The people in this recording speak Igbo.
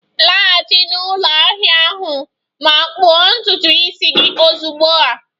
Laghachi na ụlọ ahia ahụ ma kpụọ ntutu isi gị ozugbo a!